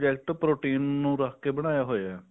protein ਨੂੰ ਰੱਖ ਕੇ ਬਣਾਇਆ ਹੋਇਆ